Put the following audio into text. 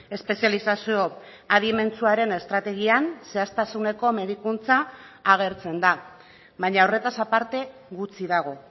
espezializazio adimentsuaren estrategian zehaztasuneko medikuntza agertzen da baina horretaz aparte gutxi dago